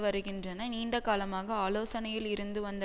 வருகின்றன நீண்ட காலமாக ஆலோசனையில் இருந்துவந்த